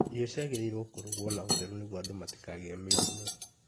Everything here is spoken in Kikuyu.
Irio ciagĩrĩirwo kũrugwo na Utheru nĩguo andũ matikagĩe mĩrimũ.